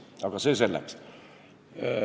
Aga see selleks.